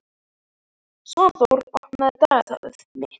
Svanþór, opnaðu dagatalið mitt.